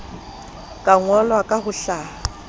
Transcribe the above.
ka ngolwa ka ho hlaha